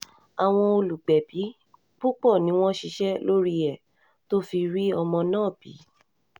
àwọn olùgbẹ̀bí púpọ̀ ni wọ́n ṣiṣẹ́ lórí ẹ̀ tó fi rí ọmọ náà bí